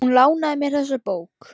Hún lánaði mér þessa bók.